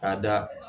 Ka da